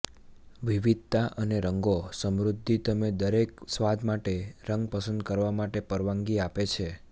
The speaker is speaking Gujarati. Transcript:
વિવિધતા અને રંગો સમૃદ્ધિ તમે દરેક સ્વાદ માટે રંગ પસંદ કરવા માટે પરવાનગી આપે છે